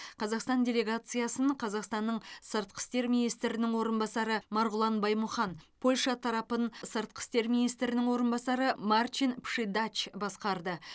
қазақстан делегациясын қазақстанның сыртқы істер министрінің орынбасары марғұлан баймұхан польша тарапын сыртқы істер министрінің орынбасары марчин пшидач басқарды